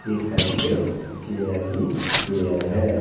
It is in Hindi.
एक साइड पर पे चेयर ही चेयर है।